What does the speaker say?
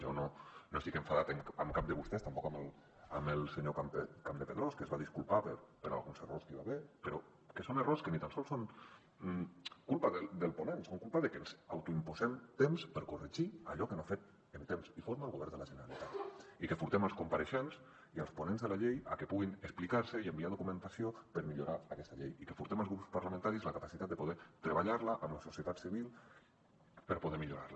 jo no estic enfadat amb cap de vostès tampoc amb el senyor campdepadrós que es va disculpar per alguns errors que hi va haver però que són errors que ni tan sols són culpa del ponent són culpa de que ens autoimposem temps per corregir allò que no ha fet en temps i forma el govern de la generalitat i que portem els compareixents i els ponents de la llei a que puguin explicar se i enviar documentació per millorar aquesta llei i que portem els grups parlamentaris la capacitat de poder treballar la amb la societat civil per poder millorar la